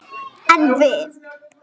En við!